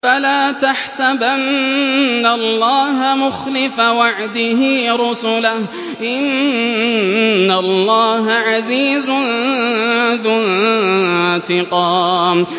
فَلَا تَحْسَبَنَّ اللَّهَ مُخْلِفَ وَعْدِهِ رُسُلَهُ ۗ إِنَّ اللَّهَ عَزِيزٌ ذُو انتِقَامٍ